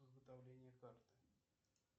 изготовление карты